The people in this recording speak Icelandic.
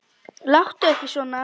Láttu ekki svona